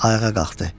Ayağa qalxdı.